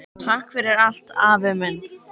Takk fyrir allt, afi minn.